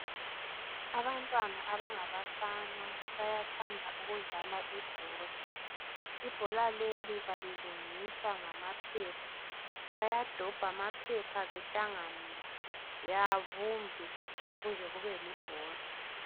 Abantwana abangabafana bayathanda ukudlala ibhola. Ibhora leli balilungisa ngamaphepha. Bayadobh' amaphepha behlanganise babumbe kuze kube libhora.